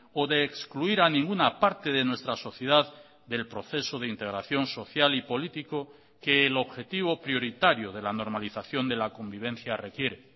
o de excluir a ninguna parte de nuestra sociedad del proceso de integración social y político que el objetivo prioritario de la normalización de la convivencia requiere